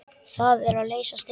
Það er að leysast upp.